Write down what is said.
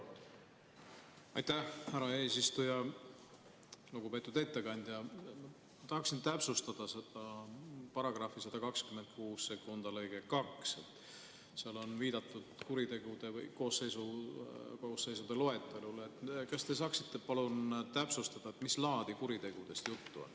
Aitäh, lugupeetud istungi juhataja!